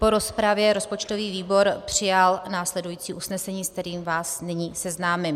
Po rozpravě rozpočtový výbor přijal následující usnesení, se kterým vás nyní seznámím.